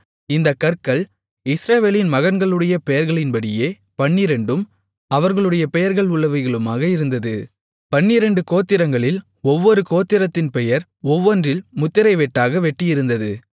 இந்தக் கற்கள் இஸ்ரவேலின் மகன்களுடைய பெயர்களின்படியே பன்னிரண்டும் அவர்களுடைய பெயர்கள் உள்ளவைகளுமாக இருந்தது பன்னிரண்டு கோத்திரங்களில் ஒவ்வொரு கோத்திரத்தின் பெயர் ஒவ்வொன்றில் முத்திரைவெட்டாக வெட்டியிருந்தது